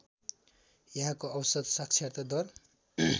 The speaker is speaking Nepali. यहाँको औसत साक्षरता दर